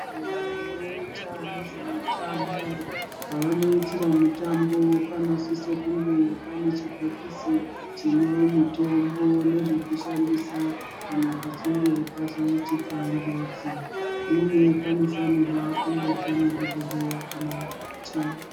Vanoita nezvemitambo, pavanoitira mitambo panosiswe kuti pange pane chibhokisi chemitombo nezvekushandisa kana pachinge pazoitika njodzi uye panofanirwa kunge pana dhokodheya kana mukoti.